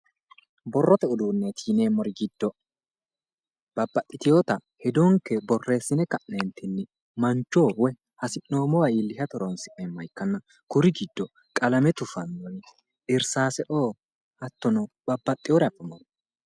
Borrote uduunneti yineemmori giddo babbaxxiteyota hedonke borreessine ka'neentinni mancho woyi hasi'noommowa iillishate iillishate horoonsi'neemmoha ikkanna kuri giddono qalame cufanna irsaase"oo hattono babbaxxeyore abbanno